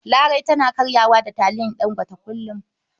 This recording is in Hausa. Larai tana karya da taliyar Ɗangote kullum.